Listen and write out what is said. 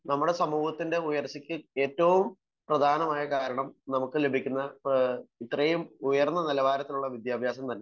നമ്മുടെ സമൂഹത്തിന്റെ ഉയർച്ചക്ക് ഏറ്റവും പ്രധാനമായ കാരണം നമുക്ക് ലഭിക്കുന്ന ഇത്രയും ഉയർന്ന നിലവാരത്തിലുള്ള വിദ്യാഭ്യാസമാണ്